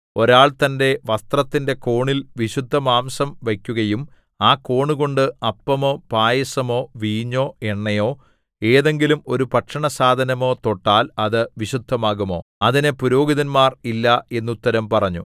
ഒരാൾ തന്റെ വസ്ത്രത്തിന്റെ കോണിൽ വിശുദ്ധമാംസം വയ്ക്കുകയും ആ കോണുകൊണ്ട് അപ്പമോ പായസമോ വീഞ്ഞോ എണ്ണയോ ഏതെങ്കിലും ഒരു ഭക്ഷണസാധനമോ തൊട്ടാൽ അത് വിശുദ്ധമാകുമോ അതിന് പുരോഹിതന്മാർ ഇല്ല എന്നുത്തരം പറഞ്ഞു